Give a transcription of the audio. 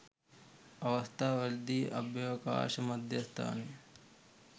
අවස්ථා වලදී අභ්‍යාවකාශ මධ්‍යස්ථානය